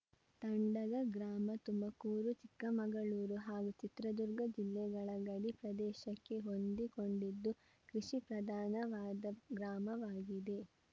ತಂಡಗ ಗ್ರಾಮ ತುಮಕೂರು ಚಿಕ್ಕಮಗಳೂರು ಹಾಗೂ ಚಿತ್ರದುರ್ಗ ಜಿಲ್ಲೆಗಳ ಗಡಿ ಪ್ರದೇಶಕ್ಕೆ ಹೊಂದಿಕೊಂಡಿದ್ದು ಕೃಷಿ ಪ್ರಧಾನ ವಾದ ಗ್ರಾಮವಾಗಿದೆ